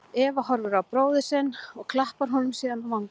Eva horfir á bróður sinn og klappar honum síðan á vangann.